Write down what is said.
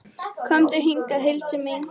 Komdu hingað, Hildur mín!